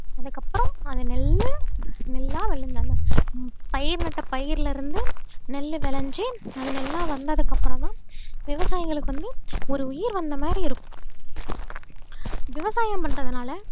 அதுக்கப்புறம் அந்த நெல்லு நெல்லா விழுந்தாங்க பயிர் நட்ட பயிர்ல இருந்து நெல் விளைஞ்சு அது நல்லா வந்ததுக்கு அப்புறம்தான் விவசாயிங்களுக்கு வந்து ஒரு உயிர் வந்த மாதிரி இருக்கும் விவசாயம் பண்றதுனால